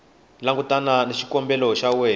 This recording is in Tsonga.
langutana na xikombelo xa wena